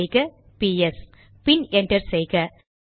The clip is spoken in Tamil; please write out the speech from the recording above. டைப் செய்க பிஎஸ் பின் என்டர் செய்க